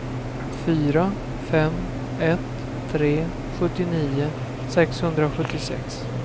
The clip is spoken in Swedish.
fyra fem ett tre sjuttionio sexhundrasjuttiosex